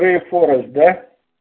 п форум да